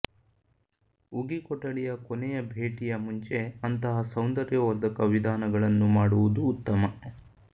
ಉಗಿ ಕೊಠಡಿಯ ಕೊನೆಯ ಭೇಟಿಯ ಮುಂಚೆ ಅಂತಹ ಸೌಂದರ್ಯವರ್ಧಕ ವಿಧಾನಗಳನ್ನು ಮಾಡುವುದು ಉತ್ತಮ